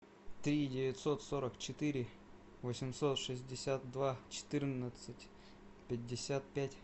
три девятьсот сорок четыре восемьсот шестьдесят два четырнадцать пятьдесят пять